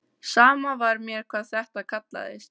Sama var mér hvað þetta kallaðist.